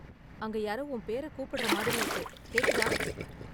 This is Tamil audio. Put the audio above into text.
அங்க யாரோ உன் பேர கூப்பிடுறா மாதிரி இருக்கு, கேக்குதா?